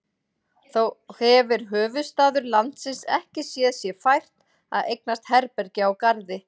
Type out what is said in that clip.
Þó hefir höfuðstaður landsins ekki séð sér fært að eignast herbergi á Garði.